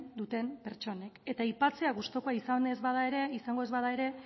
duten pertsonek eta aipatzea gustukoa izango ez bada ere